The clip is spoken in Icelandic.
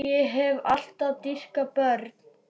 Ég hef alltaf dýrkað börn.